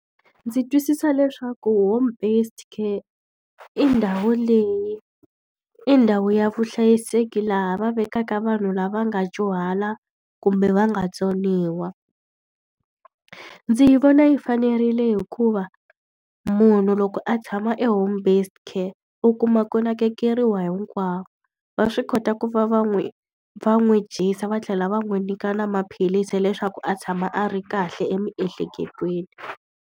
Ndzi twisisa leswaku home based care i ndhawu leyi i ndhawu ya vuhlayiseki laha va vekaka vanhu lava nga dyuhala, kumbe va nga tsoniwa. Ndzi yi vona yi fanerile hikuva munhu loko a tshama e home based care u kuma ku nakekeriwa hinkwako. Va swi kota ku va va n'wi va n'wi dyisa va tlhela va n'wi nyika na maphilisi leswaku a tshama a ri kahle emiehleketweni.